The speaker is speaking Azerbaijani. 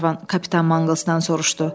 Qlenarvan kapitan Manqılsdan soruşdu.